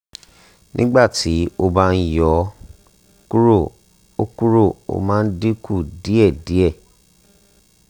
nígbà tí o bá yọ̀ ó kúrò ó kúrò ó máa dín kù díẹ̀ díẹ̀